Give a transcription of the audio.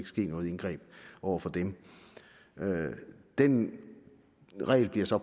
ske noget indgreb over for dem den regel bliver så